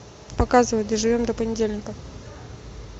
показывай доживем до понедельника